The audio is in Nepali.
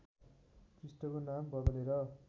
पृष्ठको नाम बदलेर